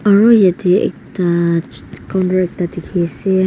aru yatae ekta colour dikhiase.